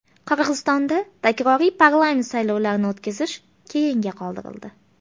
Qirg‘izistonda takroriy parlament saylovlarini o‘tkazish keyinga qoldirildi.